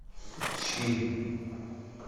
щи